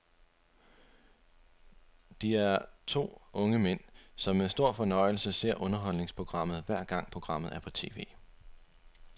De er to unge mænd, som med stor fornøjelse ser underholdningsprogrammet, hver gang programmet er på tv.